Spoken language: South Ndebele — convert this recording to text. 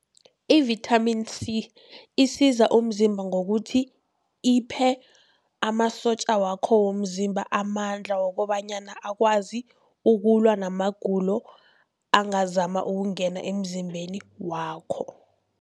I-vitamin C isiza umzimba ngokuthi iphe amasotja wakho womzimba amandla, wokobanyana akwazi ukulwa namagulo angazama ukungena emzimbeni wakho.